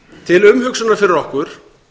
til umhugsunar fyrir okkur